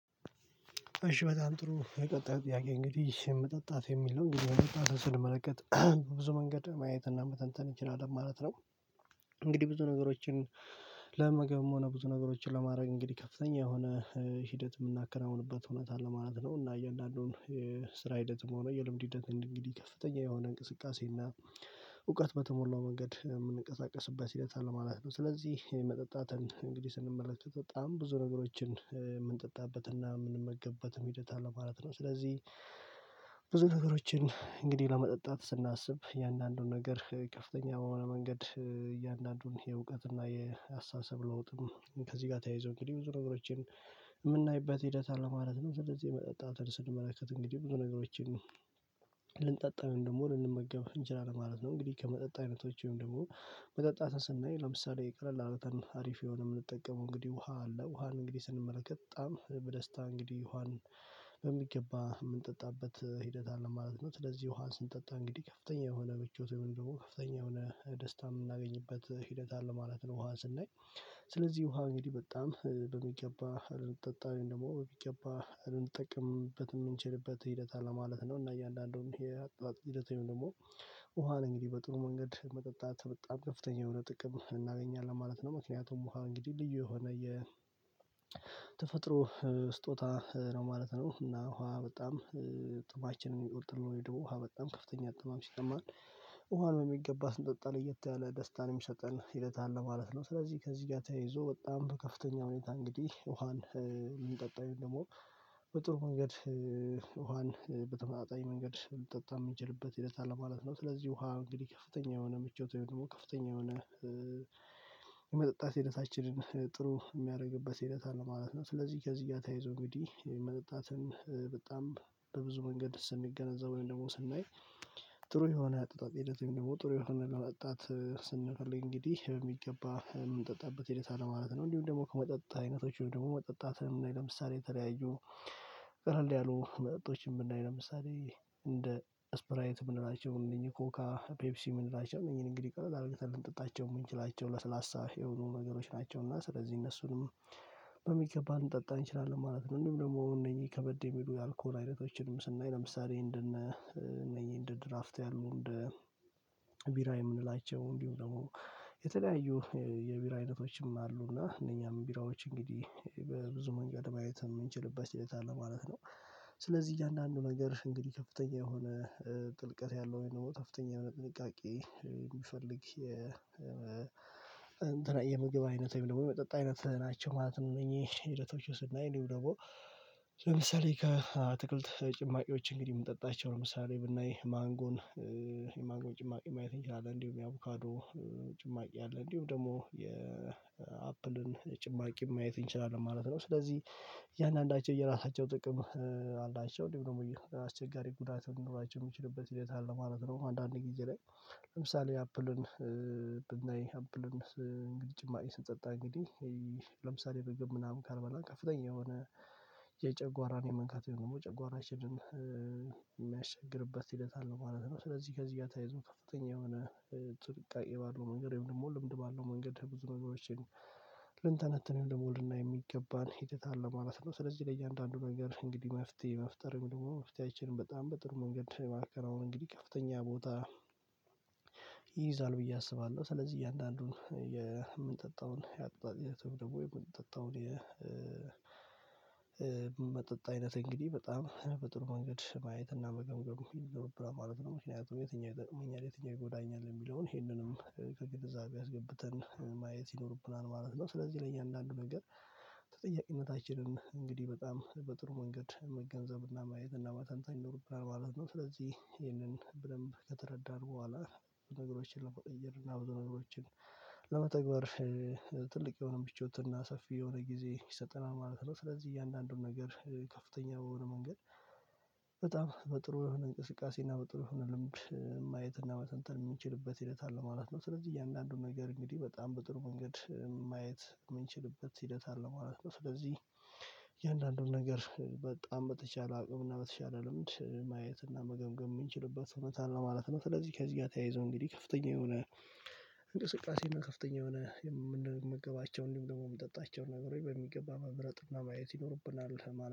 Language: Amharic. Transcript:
እሺ በጣም ጥሩ የቀጣዩ ጥያቄ እንግዲህ መጠጣት የሚለው እንግዲህ መጠጣት መመለከት ብዙ መንገድ ማየት እና መተንተን እንችላለን ማለት ነው እንግዲህ ብዙ ነገሮችን ለመገምገም ሆነ ብዙ ነገሮችን ለማድረግ እንግዲህ ከፍተኛ የሆነ ሂደት የምናከናውንበት እውነት ለማለት ነው። እና እያንዳንዱን ስራ ሂደትም ሆኖ የልምድ ሂደት እንግዲህ ከፍተኛ የሆነ እንቅስቃሴ እና እውቀት በተሞላው መንገድ የምንቀሳቀስበት ሂደት ማለት ነው ስለዚህ መጠጣትን እንግዲህ ስንመለከት በጣም ብዙ ነገሮችን የምንጠጣበትና የምንመገበት መሄድ አለ ማለት ነው ስለዚህ ብዙ ነገሮችን እንግዲህ ለመጠጣት ስናስብ የአንዳንዱን ነገር ከፍተኛ በሆነ መንገድ እያንዳንዱን የእውቀት እና የአስተሳሰብ ለውጥም ከዚህ ጋር ተያይዞ እንግዲህ ብዙ ነገሮችን የምናይበት ሂደት አለ ማለት ነው። ስለዚህ መጠጣትን ስንመለከት እንግዲህ ብዙ ነገሮችን ልንጠጣን ደግሞ ልንመገብ እንችላለን ማለት ነው። እንግዲህ ከመጠጥ አይነቶች ወይም ደግሞ መጠጣት ስናይ ለምሳሌ የቀለል አርገን አሪፍ የሆነ የምንጠቀመው እንግዲህ ውሃ አለ ውሃን እንግዲህ ስንመለከት በጣም በደስታ እንግዲህ ውሃን በሚገባ የምንጠጣበት ሂደት አለ ማለት ነው። ስለዚህ ዮሐንስን ጠጣ እንግዲህ ከፍተኛ የሆነ ብቾት ወይም ደግሞ ከፍተኛ የሆነ ደስታ የምናገኝበት ሂደት አለ ማለት ነው ውሃ ስናይ ስለዚህ ውሃ እንግዲህ በጣም በሚገባ ልንጠጣ ወይሞ በሚገባ ልንጠቅምበት የምንችልበት ሂደት አለ ማለት ነው እና እያንዳንዱን የህይወት ሂደት ወይም ደግሞ ውሃን እንግዲህ በጥሩ መንገድ መጠጣት በጣም ከፍተኛ የሆነ ጥቅም እናገኛለን ማለት ነው። ምክንያቱም ውሃ እንግዲህ ልዩ የሆነ የተፈጥሮ ስጦታ ነው ማለት ነው። እና ውሃ በጣም ጥማችንን የሚቆርጥልን ወይ ደግሞበጣም ከፍተኛ ጥማም ሲጠማን ውሃን የሚገባ ስንጠጣን እየተያለ ደስታንም ሰጠን ሂደት አለ ማለት ነው ስለዚህ ከዚህ ጋር ተያይዞ በጣም በከፍተኛ ሁኔታ እንግዲህ ውሃን የምንጠጣው ደግሞ በጥሩ መንገድ ውሃን በተመጣጣኝ መንገድ ልንጠጣ የምችልበት ሂደት አለ ማለት ነው። ስለዚህ ውሃ እንግዲህ ከፍተኛ የሆነ ምቾት ወይም ደግሞ ከፍተኛ የሆነ የመጠጣት ሂደታችንን ጥሩ የሚያደርግበት ሂደት አለ ማለት ነው። ስለዚህ ከዚህ ጋር ተይዞ እንግዲህ የመጠጣትም በጣም በብዙ መንገድ ደስ የሚገነዘበውን ደግሞ ስናይ ጥሩ የሆነ አጠጣጥ ሂደት ወይም ደግሞ ጥሩ የሆነ አጠጣጥ ስንፈልግ እንግዲህ በሚገባ ምንጠጣበት ሂደት አለ ማለት ነው። እንዲሁም ደግሞ ከመጠጣት አይነቶች ደግሞ መጠጣትን ብናይ ለምሳሌ የተለያዩ ቀለል ያሉ መጠጦችን የምናይ ለምሳሌ እንደ ስፕራይት ምን ናቸው እነኚህ ኮካ፤ ፔፕሲ ምንላቸው ቀለል አድርገን ልንጠጣቸው የምንችላቸው ለስላሳ የሆኑ ነገሮች ናቸው እና ስለዚህ እነሱንም በሚገባ ልንጠጣ እንችላለን ማለት ነው። እንደውም ደግሞ እነዚህ ከበድ የሚሉ የአልኮል አይነቶችንም ስናይ ለምሳሌ እንደ እነ እነ እንደ ድራፍት ያሉ እንደ ቢራ የምንላቸው እንዲሁ ደግሞ የተለያዩ የቢራ አይነቶችም አሉና እነኛም ቢራዎች እንግዲህ በብዙ መንገድ ማየት የምንችልበት ሂደት አለ ማለት ነው ስለዚህ እያንዳንዱ ነገር እንግዲህ ከፍተኛ የሆነ ጥልቀት ያለው ወይ ደግሞ ከፍተኛ የሆነ ጥንቃቄ የሚፈልግ የ የምግብ አይነት ወይ የመጠጥ አይነት ናቸው ማለት ነው እነዚህ ሂደቶች ውስጥ ስናይ እንዲሁ ደግሞ ለምሳሌ ከአትክልት ጭማቂዎች እንግዲህ የምንጠጣቸው ለምሳሌ ብናይ ማንጎን የማንጎ ጭማቂ ማየት እንችላለን እንዲሁም የአቮካዶ ጭማቂ አለ እንዲሁም ደግሞ የአፕልን ጭማቂ ማየት እንችላለን ማለት ነው ስለዚህ እያንዳንዳቸው የራሳቸው ጥቅም አላቸው። እንዲሁም ደግሞ አስቸጋሪ ጉዳት መኖራቸው የሚችልበት ሌላ ማለት ነው አንዳንድ ጊዜ ላይ ለምሳሌ አፕልን ብናይ አፕልን ጭማሪ ስንጠጣ እንግዲህ ለምሳሌ ርግብ ምናምን ካልመላን ከፍተኛ የሆነ የጨጓራን የመንካት የሆነ ደግሞ ጨጓራችንን የሚያቸግርበት ሂደት አለ ማለት ነው። ስለዚህ ከዚህ ጋር ታይዝም ከፍተኛ የሆነ ጥንቃቄ ባለው መንገድ ወይም ደግሞ ልምድ ባለው መንገድ ብዙ መንገዶችን እኔም ደግሞ ልናይ የሚገባን ሂደት አለ ማለት ነው። ስለዚህ ለእያንዳንዱ ነገር እንግዲህ መፍትሄ መፍጠር ወይምደግሞ መፍትሄያችንን በጣም በጥሩ መንገድ የማከናው እንግዲህ ከፍተኛ ቦታ ይይዛል ብዬ አስባለሁ። ስለዚህ እያንዳንዱን የምንጠጣውን የአቅጣጫ ደግሞ የመጠጥ አይነት እንግዲህ በጣም በጥሩ ወንገድ ማየትና መገምገም ይኖርብናል ማለት ነው። ምክንያቱም የትኛው ይጠቅመኛል የትኛው ይጎዳኛል የሚለውን ይሄንንም ከግድዛቤ ያስገብተን ማየት ይኖርብናል ማለት ነው። ስለዚህ ለእያንዳንዱ ነገር ተጠያቂነታችንን እንግዲህ በጣም በጥሩ መንገድ መገንዘብና ማየትና እና ማታንታን ይኖርብናል ማለት ነው። ስለዚህ ይህንን በደንብ ከተረዳን በኋላ በነገሮችን ለመቀየር እና ብዙ ነገሮችን ለመተግበር ትልቅ የሆነ ምቾትና ሰፊ የሆነ ጊዜ ይሰጠናል ማለት ነው። ስለዚህ እያንዳንዱን ነገር ከፍተኛ በሆነ መንገድ በጣም በጥሩ እንቅስቃሴ እና በጥሩ ልምድ ማየት እና መተንተን የሚችልበት ይለታል ማለት ነው። ስለዚህ እያንዳንዱን ነገር እንግዲህ በጣም በጥሩ መንገድ ማየት የምንችልበት ሂደት አለ ማለት ነው። ስለዚህ እያንዳንዱን ነገር በጣም በተቻለ አቅም እና በተቻለ ልምድ ማየት እና መገምገም የምንችልበት እውነት ነው ማለት ነው። ስለዚህ ከዚህ ጋር ተያይዞ እንግዲህ ከፍተኛ የሆነ እንቅስቃሴ እና ከፍተኛ የሆነ የምንመገባቸውን ደግሞ የሚጠጣቸውን ነገሮች ወይ በሚገባ መብረጥና ማየት ይኖርብናል